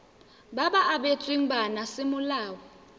ba ba abetsweng bana semolao